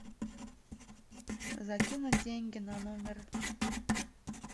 закинуть деньги на номер